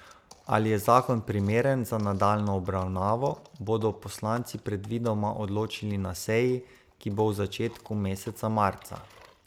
Ali je zakon primeren za nadaljnjo obravnavo, bodo poslanci predvidoma odločili na seji, ki bo v začetku meseca marca.